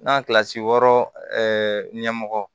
N'a kilasi wɔɔrɔ ɲɛmɔgɔ